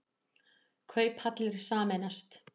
Kauphallir sameinast